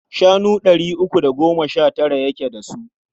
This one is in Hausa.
Shanu ɗari uku da goma sha tara yake da su.